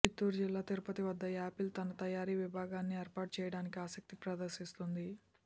చిత్తూరు జిల్లా తిరుపతి వద్ద యాపిల్ తన తయారీ విభాగాన్ని ఏర్పాటు చేయటానికి ఆసక్తిని ప్రదర్శిస్తోంది